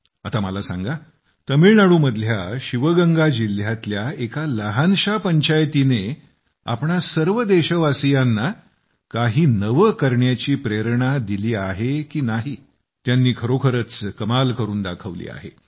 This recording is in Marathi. आता मला सांगा तमिळनाडू मधल्या शिवगंगा जिल्ह्यातल्या एका लहानशा पंचायतीने आपणा सर्व देशवासियांना काही नवे करण्याची प्रेरणा दिली आहे की नाही त्यांनी खरोखरच कमाल करून दाखवली आहे